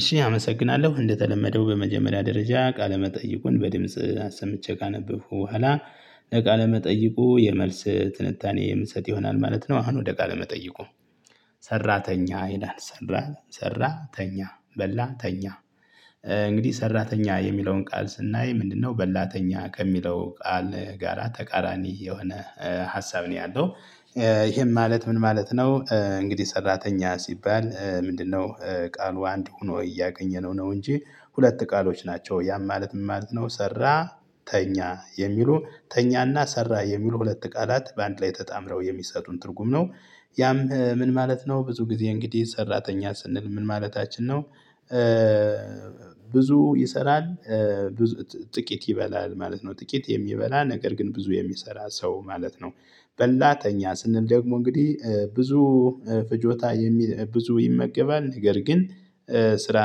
እሺ አመሰግናለሁ እንደተለመደው በመጀመሪያ ደረጃ ቃለ መጠይቁን በድምጽ አሰምቼ ካነበብኩ በኋላ ለቃለ መጠይቁ የመልስ ትንታኔ የምሰጥ ይሆናል ማለት ነው። አሁን ወደ ቃለ መጠይቁ ሰራተኛ ይላል። ሰራተኛ ሰራተኛ፣ በላተኛ እንግዲህ ሰራተኛ የሚለውን ቃል ስናይ ምንድነው በላተኛ ከሚለው ቃል ጋራ ተቃራኒ የሆነ ሀሳብ ነው ያለው። ይሄም ማለት ምን ማለት ነው እንግዲህ ሰራተኛ ሲባል ምንድነው ቃሉ አንድ ሆኖ እያገኘነው ነው እንጂ ሁለት ቃሎች ናቸው። ያም ማለት ምን ማለት ነው ሰራ፣ ተኛ የሚሉ ተኛና ሰራ የሚል ሁለት ቃላት በአንድ ላይ ተጣምረው የሚሰጡን ትርጉም ነው። ያም ምን ማለት ነው ብዙ ጊዜ እንግዲህ ሰራተኛ ስንል ምን ማለታችን ነው ብዙ ይሰራል ጥቂት ይበላል ማለት ነው። ጥቂት የሚበላ ነገር ግን ብዙ የሚሰራ ሰው ማለት ነው። በላተኛ ስንል ደግሞ እንግዲህ ብዙ ፍጆታ የሚ ብዙ ይመገባል፤ ነገር ግን ስራ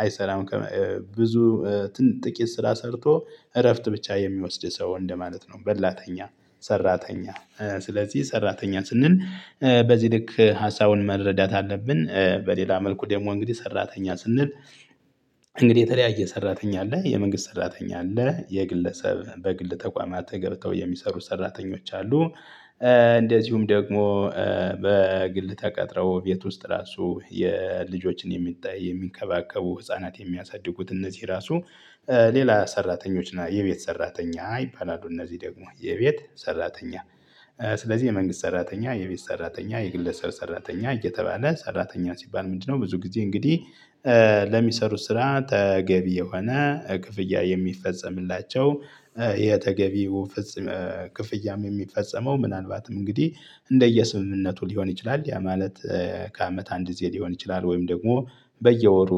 አይሰራም ብዙ ጥቂት ስራ ሰርቶ እረፍት ብቻ የሚወስድ ሰው እንደማለት ነው። በላተኛ ሰራተኛ ስለዚህ ሰራተኛ ስንል በዚህ ልክ ሀሳቡን መረዳት አለብን። በሌላ መልኩ ደግሞ እንግዲህ ሰራተኛ ስንል እንግዲህ የተለያየ ሰራተኛ አለ የመንግስት ሰራተኛ አለ የግለሰብ በግል ተቋማት ገብተው የሚሰሩ ሰራተኞች አሉ እንደዚሁም ደግሞ በግል ተቀጥረው ቤት ውስጥ ራሱ የልጆችን የሚጠ የሚንከባከቡ ህፃናት የሚያሳድጉት እነዚህ ራሱ ሌላ ሰራተኞች ና የቤት ሰራተኛ ይባላሉ እነዚህ ደግሞ የቤት ሰራተኛ፤ ስለዚህ የመንግስት ሰራተኛ፣ የቤት ሰራተኛ፣ የግለሰል ሰራተኛ እየተባለ ሰራተኛ ሲባል ምንድነው ብዙ ጊዜ እንግዲህ ለሚሰሩት ስራ ተገቢ የሆነ ክፍያ የሚፈጸምላቸው የተገቢው ክፍያም የሚፈጸመው ምናልባትም እንግዲህ እንደየስምምነቱ ሊሆን ይችላል፤ ያ ማለት ከአመት አንድ ጊዜ ሊሆን ይችላል፤ ወይም ደግሞ በየወሩ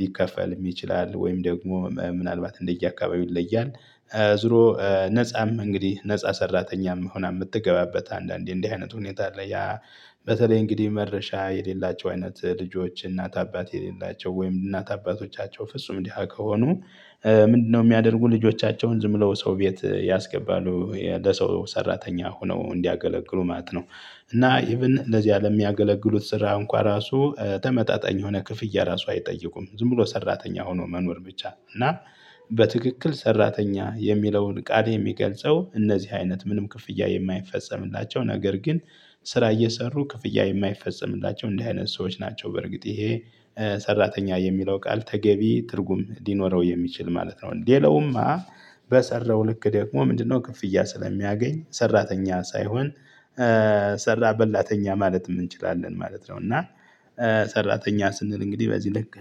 ሊከፈልም ይችላል፤ ወይም ደግሞ ምናልባት እንደየአካባቢው ይለያል። ዙሮ ነፃም እንግዲህ ነፃ ሰራተኛም ሆና የምትገባበት አንዳንዴ እንዲህ አይነት ሁኔታ አለ ያ በተለይ እንግዲህ መድረሻ የሌላቸው አይነት ልጆች እናት አባት የሌላቸው ወይም እናት አባቶቻቸው ፍጹም ድሃ ከሆኑ ምንድነው የሚያደርጉ ልጆቻቸውን ዝም ብለው ሰው ቤት ያስገባሉ ለሰው ሰራተኛ ሆነው እንዲያገለግሉ ማለት ነው፤ እና ኢቭን ለዚያ ለሚያገለግሉት ስራ እንኳ ራሱ ተመጣጣኝ የሆነ ክፍያ ራሱ አይጠይቁም። ዝም ብሎ ሰራተኛ ሆኖ መኖር ብቻ፤ እና በትክክል ሰራተኛ የሚለውን ቃል የሚገልጸው እነዚህ አይነት ምንም ክፍያ የማይፈጸምላቸው፤ ነገር ግን ስራ እየሰሩ ክፍያ የማይፈጸምላቸው እንዲህ አይነት ሰዎች ናቸው በርግጥ ይሄ ሰራተኛ የሚለው ቃል ተገቢ ትርጉም ሊኖረው የሚችል ማለት ነው። ሌላውማ በሰራው ልክ ደግሞ ምንድነው ክፍያ ስለሚያገኝ ሰራተኛ ሳይሆን ሰራ በላተኛ ማለትም እንችላለን ማለት ነው እና ሰራተኛ ስንል እንግዲህ በዚህ ልክ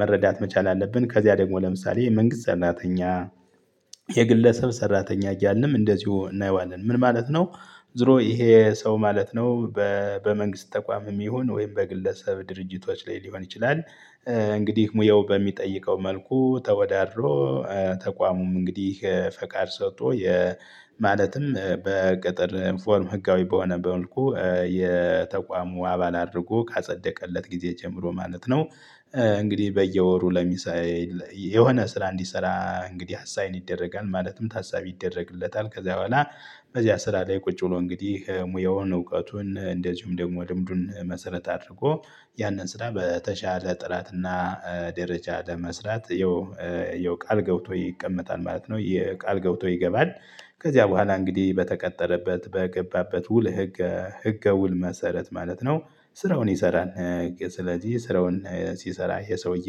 መረዳት መቻል አለብን ከዚያ ደግሞ ለምሳሌ የመንግስት ሰራተኛ የግለሰብ ሰራተኛ እያልንም እንደዚሁ እናየዋለን "ምን ማለት ነው?" ዞሮ ይሄ ሰው ማለት ነው በ በመንግስት ተቋምም ይሁን ወይም በግለሰብ ድርጅቶች ላይ ሊሆን ይችላል እንግዲህ ሙያው በሚጠይቀው መልኩ ተወዳድሮ ተቋሙም እንግዲህ ፈቃድ ሰጥቶ የ ማለትም በቅጥር ኢንፎርም ህጋዊ በሆነ በመልኩ የተቋሙ አባል አድርጎ ካጸደቀለት ጊዜ ጀምሮ ማለት ነው፤ እንግዲህ በየወሩ ለሚሳዬ የሆነ ስራ እንዲሰራ እንግዲህ አሳይን ይደረጋል ማለትም ታሳቢ ይደረግለታል። ከዛ በኋላ በዚያ ስራ ላይ ቁጭ ብሎ እንግዲህ ሙያውን እውቀቱን እንደዚሁም ደግሞ ልምዱን መሰረት አድርጎ ያንን ስራ በተሻለ ጥራትና ደረጃ ለመስራት ያው ያው ቃል ገብቶ ይቀመጣል ማለት ነው የ ቃል ገብቶ ይገባል። ከዚያ በኋላ እንግዲህ በተቀጠረበት በገባበት ውል ህግ ህገ ውል መሰረት ማለት ነው ስራውን ይሰራል። ስለዚህ ስራውን ሲሰራ ይሄ ሰውዬ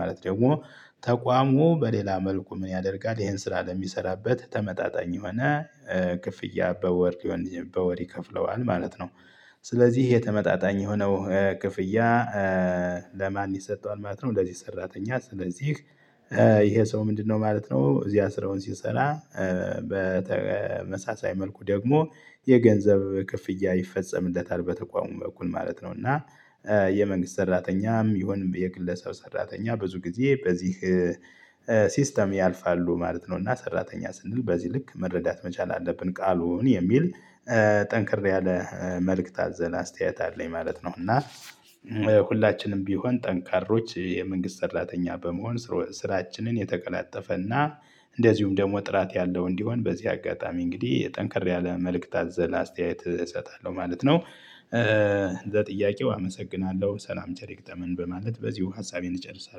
ማለት ደግሞ ተቋሙ በሌላ መልኩ ምን ያደርጋል ይሄን ስራ ለሚሰራበት ተመጣጣኝ የሆነ ክፍያ በወር ሊሆን በወር ይከፍለዋል ማለት ነው። ስለዚህ ይሄ ተመጣጣኝ የሆነው ክፍያ ለማን ይሰጠዋል ማለት ነው ለዚህ ሰራተኛ ስለዚህ ይሄ ሰው ምንድነው ማለት ነው እዚያ ስራውን ሲሰራ በተመሳሳይ መልኩ ደግሞ የገንዘብ ክፍያ ይፈጸምለታል በተቋሙ በኩል ማለት ነው፤ እና የመንግስት ሰራተኛም ይሁን የግለሰብ ሰራተኛ ብዙ ጊዜ በዚህ ሲስተም ያልፋሉ ማለት ነው፤ እና ሰራተኛ ስንል በዚህ ልክ መረዳት መቻል አለብን ቃሉን የሚል ጠንከር ያለ መልእክት አዘለ አስተያየት አለኝ ማለት ነው፤ እና ሁላችንም ቢሆን ጠንካሮች የመንግስት ሰራተኛ በመሆን ስሮ ስራችንን የተቀላጠፈና እንደዚሁም ደግሞ ጥራት ያለው እንዲሆን በዚህ አጋጣሚ እንግዲህ ጠንከር ያለ መልእክት አዘለ አስተያየት እሰጣለሁ ማለት ነው። ለጥያቄው አመሰግናለሁ ሰላም ቸር ይግጠመን በማለት በዚሁ ሀሳቤን እጨርሳለሁ።